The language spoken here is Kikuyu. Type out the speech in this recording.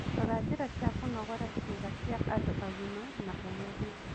Rora njĩra cia kũnogora ciĩga cia andũ agima na ũgerie